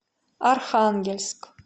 архангельск